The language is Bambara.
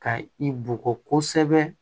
Ka i bugɔ kosɛbɛ